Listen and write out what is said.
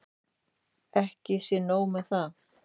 Ekki sé nóg með það.